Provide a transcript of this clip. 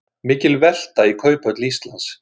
Mikil velta í Kauphöll Íslands